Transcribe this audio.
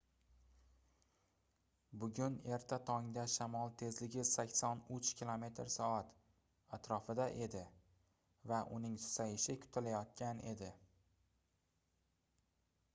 bugun erta tongda shamol tezligi 83 km/s atrofida edi va uning susayishi kutilayotgan edi